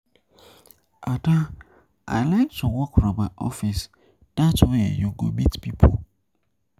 Ada I like to work from my office dat way you go meet people